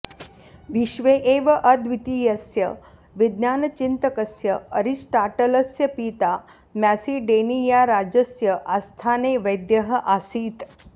विश्वे एव अद्वितीयस्य विज्ञानचिन्तकस्य अरिस्टाटलस्य पिता म्यासिडेनियाराजस्य आस्थाने वैद्यः आसीत्